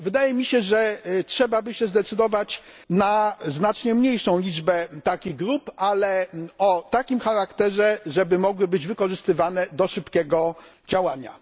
Wydaje mi się, że trzeba by się zdecydować na znacznie mniejszą liczbę takich grup, ale o takim charakterze, żeby mogły one być wykorzystywane do szybkiego działania.